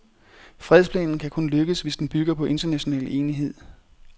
Fredsplanen kan kun lykkes, hvis den bygger på international enighed.